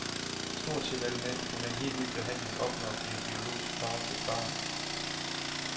Stort set alle mænd kan med en helt ny behandling opnå at blive biologisk far til et barn.